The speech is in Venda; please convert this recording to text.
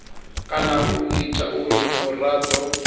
kana u ita uri muraḓo